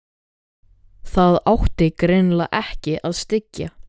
Það átti greinilega ekki að styggja